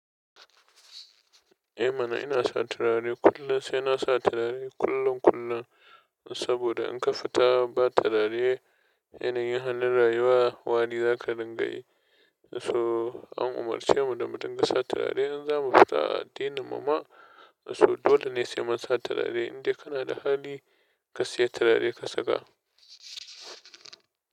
Eh mana ina sa turare kullum, sai na sa turare kullun kullun saboda in ka fita ba turare yanayin halin rayuwa, wari zaka dunga yi. So an umarce mu da mu dinga sa turare in za mu fita a addinin mu ma, so dole ne sai man sa turare. Indai kana da hali ka siya turare ka saka.